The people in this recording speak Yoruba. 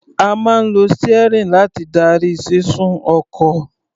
A máa ń lo steering láti darí sísún ọkọ̀.